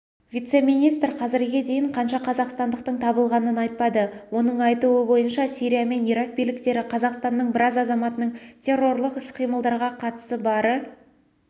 вице-министр қазірге дейін қанша қазақстандықтың табылғанын айтпады оның айтуы бойынша сирия мен ирак биліктері қазақстанның біраз азаматының террорлық іс-қимылдарға қатысы бары